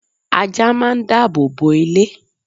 ajá máà ń dábòbò ilé